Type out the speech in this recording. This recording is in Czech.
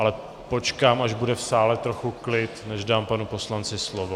Ale počkám, až bude v sále trochu klid, než dám panu poslanci slovo.